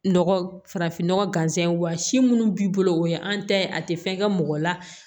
Nɔgɔ farafinnɔgɔ gansan ye wa si minnu b'i bolo o ye an ta ye a tɛ fɛn kɛ mɔgɔ la